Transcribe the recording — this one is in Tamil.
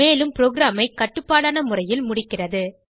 மேலும் ப்ரோகிராமை கட்டுப்படான முறையில் முடிக்கிறது